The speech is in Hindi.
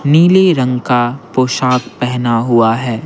नीले रंग का पोशाक पहना हुआ है।